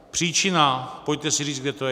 Příčina - pojďte si říct, kde to je.